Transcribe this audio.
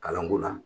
Kalanko la